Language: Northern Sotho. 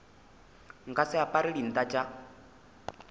nka se apare dinta tša